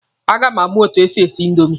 A ga m amụ etu e si esi indomi.